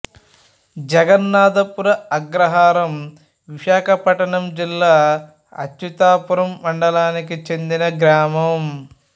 జగన్నాధపుర అగ్రహారం విశాఖపట్నం జిల్లా అచ్యుతాపురం మండలానికి చెందిన గ్రామం